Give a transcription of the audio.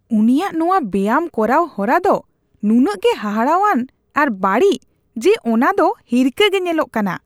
ᱩᱱᱤᱭᱟᱜ ᱱᱚᱣᱟ ᱵᱮᱭᱟᱢ ᱠᱚᱨᱟᱣ ᱦᱚᱨᱟ ᱫᱚ ᱱᱩᱱᱟᱹᱜ ᱜᱮ ᱦᱟᱦᱟᱲᱟᱣᱟᱱ ᱟᱨ ᱵᱟᱹᱲᱤᱡ ᱡᱮ ᱚᱱᱟ ᱫᱚ ᱦᱤᱨᱠᱷᱟᱹ ᱜᱮ ᱧᱮᱞᱚᱜ ᱠᱟᱱᱟ ᱾